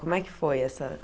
Como é que foi essa?